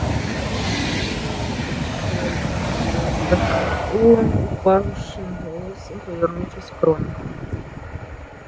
дневник реддла исчез сказал он упавшим голосом повернувшись к рону